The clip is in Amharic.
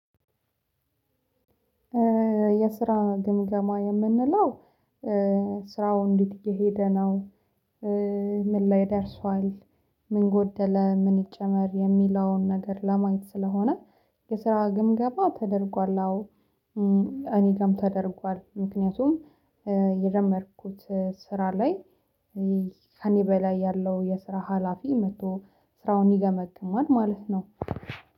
የስራ ግምገማ የምንለው ስራው እንዴት እየሄደ ነው? ምን ላይ ደርሷል? ምን ጎደለ ምን ይጨመር የሚለውን ነገር ለማየት ስለሆነ የስራ ግምገማ ተደርጓል። አዎ እኔ ጋርም ተደርጓል። ምክንያቱም የጀመርኩት ስራ ላይ ከእኔ በላይ ያለው የስራ ሀላፊ መጥቶ ስራውን ይገመግማል ማለት ነው።